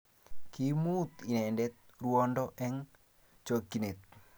Kiimut inendet ruondo eng chokchinet